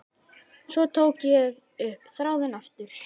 Svo tók ég upp þráðinn aftur.